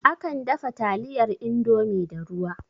Akan dafa taliyar Indomie da ruwa